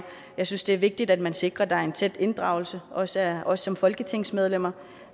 jeg synes det er vigtigt at man sikrer at der er en tæt inddragelse også af os som folketingsmedlemmer